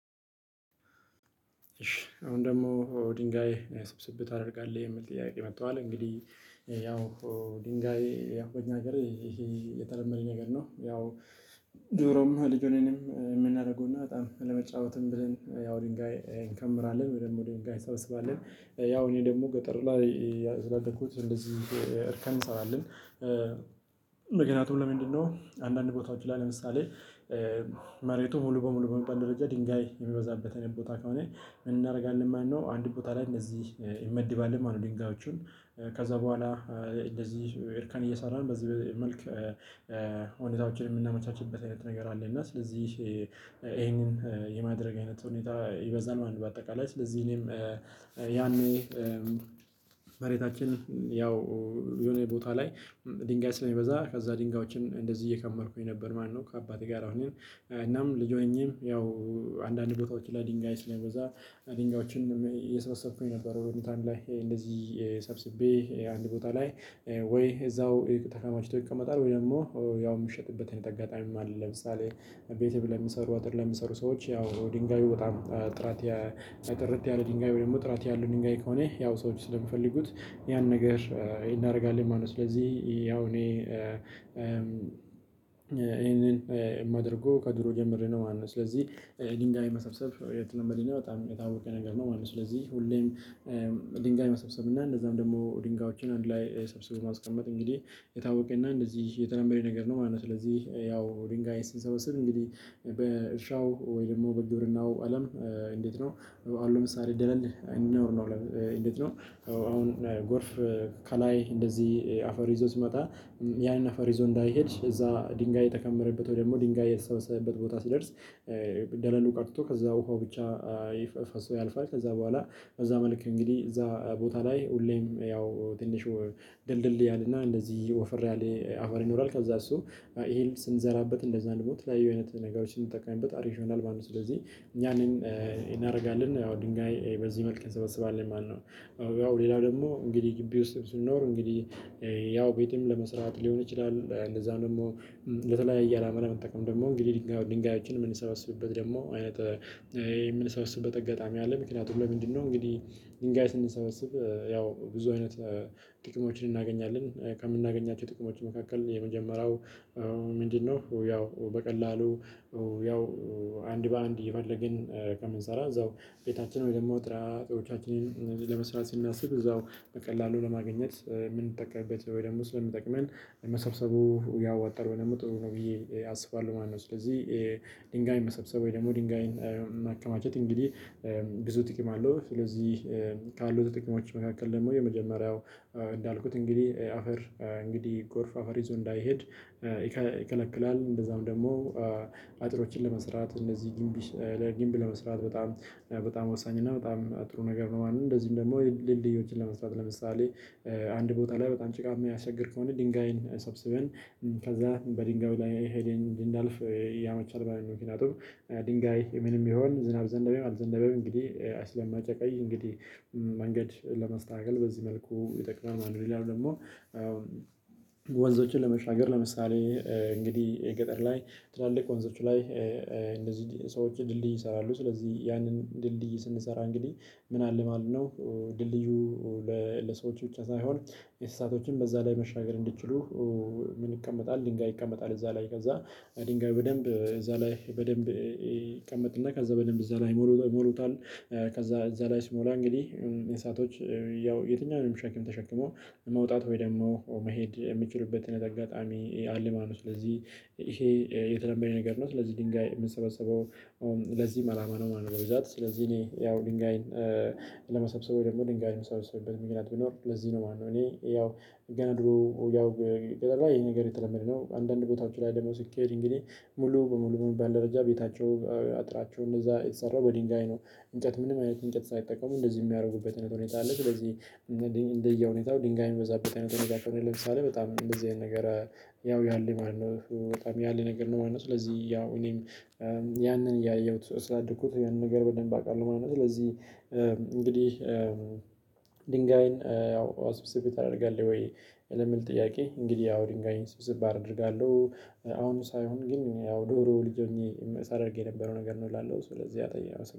አሁን ደግሞ ድንጋይ ስብስብ ታደርጋለህ የሚል ጥያቄ መጥተዋል እንግዲህ ያው ድንጋይ ያው በኛ ሀገር ይሄ የተለመደ ነገር ነው። ያው ድሮም ልጅ ሆነንም የምናደርገው እና በጣም አለመጫወትም ብለን ያው ድንጋይ እንከምራለን ወይም ደግሞ እንሰበስባለን። ያው እኔ ደግሞ ገጠር ላይያ ስላደኩት እንደዚህ እርከን እንሰራለን። ምክንያቱ ለምንድነው? አንዳንድ ቦታዎች ላይ ለምሳሌ መሬቱ ሙሉ በሙሉ በሚባል ደረጃ ድንጋይ የሚበዛበት አይነት ቦታ ከሆነ ምን እናደርጋለን ማለት ነው? አንድ ቦታ ላይ እንደዚህ እንመድባለን ማለት ነው። ድንጋዮቹን ከዛ በኋላ እንደዚህ እርከን እየሰራን በዚህ መልክ ሁኔታዎችን የምናመቻችበት አይነት ነገር አለ። እና ስለዚህ ይሄንን የማድረግ አይነት ሁኔታ ይበዛል ማለት ነው። በአጠቃላይ ስለዚህም እኔም ያኔ መሬታችን ያው የሆነ ቦታ ላይ ድንጋይ ስለሚበዛ ከዛ ድንጋዮችን እንደዚህ እየከመርኩኝ ነበር ማለት ነው። ከአባቴ ጋር ሆኜ እናም ልጅ ሆኜም ያው አንዳንድ ቦታዎች ላይ ድንጋይ ስለሚበዛ ድንጋዮችን እየሰበሰብኩኝ ነበር። ወደ ታን ላይ እንደዚህ ሰብስቤ አንድ ቦታ ላይ ወይ እዛው ተከማችቶ ይቀመጣል ወይ ደግሞ ያው የሚሸጥበት አይነት አጋጣሚም አለ። ለምሳሌ ቤቴም ለሚሰሩ አጥር ለሚሰሩ ሰዎች ያው ድንጋዩ በጣም ጥራትያ ጥርት ያለ ድንጋይ ወይም ደግሞ ጥራት ያለው ድንጋይ ከሆነ ያው ሰዎች ስለሚፈልጉት ያን ነገር እናደርጋለን ማለት ነው። ስለዚህ ያው እኔ ይሄንን የማደርገው ከድሮ ጀምሬ ነው ማለት ነው። ስለዚህ ድንጋይ መሰብሰብ የተለመደነ በጣም የታወቀ ነገር ነው ማለት ነው። ስለዚህ ሁሌም ድንጋይ መሰብሰብና እንደዛም ደግሞ ድንጋዮችን አንድ ላይ ሰብስቦ ማስቀመጥ እንግዲህ የታወቀና እንደዚህ የተለመደ ነገር ነው ማለት ነው። ስለዚህ ያው ድንጋይ ስንሰበስብ እንግዲህ በእርሻው ወይ ደግሞ በግብርናው አለም እንዴት ነው? አሁን ለምሳሌ ደለል አይኖር ነው ልም እንዴት ነው? አሁን ጎርፍ ከላይ እንደዚህ አፈር ይዞ ሲመጣ ያንን አፈር ይዞ እንዳይሄድ እዛ ድንጋይ የተከመረበት ወይ ደግሞ ድንጋይ የተሰበሰበበት ቦታ ሲደርስ ደለሉ ቀርቶ ከዛ ውሃው ብቻ ይፈ ፈሶ ያልፋል። ከዛ በኋላ በዛ መልክ እንግዲህ እዛ ቦታ ላይ ሁሌም ያው ትንሽ ድልድል ያለና እንደዚህ ወፈር ያለ አፈር ይኖራል። ከዛ እሱ ይሄን ስንዘራበት እንደዛ ደሞ የተለያዩ አይነት ነገሮችን ስንጠቀምንበት አሪፍ ይሆናል ማለት ነው። ስለዚህ እኛን እናደርጋለን ድንጋይ በዚህ መልክ እንሰበስባለን ማለት ነው። ያው ሌላው ደግሞ እንግዲህ ግቢ ውስጥ ስኖር እንግዲህ ያው ቤትም ለመስራት ሊሆን ይችላል። እንደዛም ደግሞ ለተለያየ አላማ ለመጠቀም ደግሞ እንግዲህ ድንጋዩ ድንጋዮችን የምንሰበስብበት ደግሞ አይነት የምንሰበስበት አጋጣሚ አለ። ምክንያቱም ለምንድነው? እንግዲህ ድንጋይ ስንሰበስብ ያው ብዙ አይነት ጥቅሞችን እናገኛለን። ከምናገኛቸው ጥቅሞች መካከል የመጀመሪያው ምንድነው? ያው በቀላሉ ያው አንድ በአንድ እየፈለግን ከምንሰራ እዛው ቤታችን ወይ ደግሞ ጥራቄዎቻችንን ለመስራት ስናስብ እዛው በቀላሉ ለማግኘት ምንጠቀምበት ወይ ደግሞ ስለሚጠቅመን መሰብሰቡ ያዋጣል ወይ ደግሞ ጥሩ ነው ብዬ አስባለሁ ማለት ነው። ስለዚህ ድንጋይ መሰብሰብ ወይ ደግሞ ድንጋይን ማከማቸት እንግዲህ ብዙ ጥቅም አለው። ስለዚህ ካሉት ጥቅሞች መካከል ደግሞ የመጀመሪያው እንዳልኩት እንግዲህ አፈር እንግዲህ ጎርፍ አፈር ይዞ እንዳይሄድ ይከለ ይከለክላል። እንደዛም ደግሞ አጥሮችን ለመስራት እነዚህ ግንብ ለግንብ ለመስራት በጣም በጣም ወሳኝ እና በጣም ጥሩ ነገር ነው ማለት ነው። እንደዚህም ደግሞ ድልድዮችን ለመስራት ለምሳሌ አንድ ቦታ ላይ በጣም ጭቃ የሚያስቸግር ከሆነ ድንጋይን ሰብስበን ከዛ በድንጋዩ ላይ ሄደን እንድናልፍ ያመቻል ማለት ነው። ምክንያቱም ድንጋይ ምንም ይሁን ዝናብ ዘነበም አልዘነበም እንግዲህ ስለማጨቃይ እንግዲህ መንገድ ለመስተካከል በዚህ መልኩ ይጠቅማል ማለት ነው። ሌላው ደግሞ ወንዞችን ለመሻገር ለምሳሌ እንግዲህ ገጠር ላይ ትላልቅ ወንዞች ላይ እንደዚህ ሰዎችን ድልድይ ይሰራሉ። ስለዚህ ያንን ድልድይ ስንሰራ እንግዲህ ምን አለ ማለት ነው? ድልድዩ ለሰዎች ብቻ ሳይሆን ለእንስሳቶችም በዛ ላይ መሻገር እንድትችሉ ምን ይቀመጣል ድንጋይ ይቀመጣል እዛ ላይ ከዛ ድንጋዩ በደንብ እዛ ላይ በደንብ ይቀመጥና ከዛ በደንብ እዛ ላይ ይሞሉ ይሞሉታል። ከዛ እዛ ላይ ሲሞላ እንግዲህ እንስሳቶች ያው የትኛውንም ሸክም ተሸክሞ መውጣት ወይ ደግሞ መሄድ የሚችሉበትን አይነት አጋጣሚ አለ ማለት ነው። ስለዚህ ይሄ የተለመደ ነገር ነው ስለዚህ ድንጋይ የሚሰበሰበው ለዚህም አላማ ነው ማለት ነው። በብዛት ስለዚህ እኔ ያው ድንጋይን ለመሰብሰብ ወይ ደግሞ ድንጋይን ምሰበስብበት ምክንያት ቢኖር ለዚህ ነው ማለት ነው። እኔ ያው ገና ድሮ ያው ገጠር ላይ ይሄ ነገር የተለመደ ነው። አንዳንድ ቦታዎች ላይ ደግሞ ስኬድ እንግዲህ ሙሉ በሙሉ በሚባል ደረጃ ቤታቸው አጥራቸው እንደዛ የተሰራው በድንጋይ ነው። እንጨት ምንም አይነት እንጨት ሳይጠቀሙ እንደዚህ የሚያደርጉበት አይነት ሁኔታ አለ። ስለዚህ እንደየሁኔታው ድንጋይ የሚበዛበት አይነት ሁኔታ ከሆነ ለምሳሌ በጣም እንደዚህ አይነት ነገር ያው ያለ ማለት ነው በጣም ያለ ነገር ነው ማለት ነው። ስለዚህ ያው እኔም ያንን እያየሁት ስላደኩት ያንን ነገር በደንብ አውቃለሁ ማለት ነው። ስለዚህ እንግዲህ ድንጋይን ያው ስብስብ ታደርጋለህ ወይ ለሚል ጥያቄ እንግዲህ አው ድንጋይን ስብስብ አደርጋለሁ። አሁን ሳይሆን ግን ያው ድሮ ልጅ ሆኜ ሳደርግ የነበረው ነገር ነው እላለው ስለዚህ አታይም